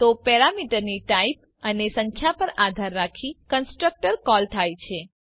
તો પેરામીટરની ટાઇપ અને સંખ્યા પર આધાર રાખી કન્સ્ટ્રક્ટર કોલ થાય છે